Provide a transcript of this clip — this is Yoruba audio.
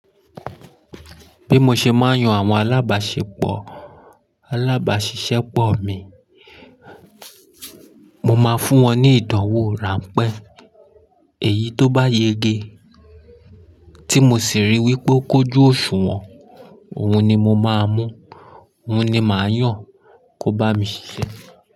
Bí mo ṣe máa ń yan àwọn alábàṣiṣẹ́ pọ̀ mi, mo máa fún wọn ní ìdánwò ránpẹ́ èyí tó bá yege tí mo sì ríi wí pé ó kójú òṣùwọ̀n, òun ni mo máa mú, òun ni màá yàn kó bá mi ṣiṣẹ́